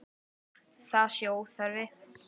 Það sé óþarfi.